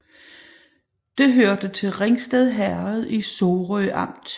Det hørte til Ringsted Herred i Sorø Amt